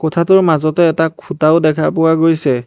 কোঠাটোৰ মাজতে এটা খুঁটাও দেখা পোৱা গৈছে।